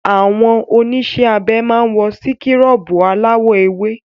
Àwọn oníṣẹ́ abẹ máa wọ síkúrọ̀bù aláwọ̀ ewé.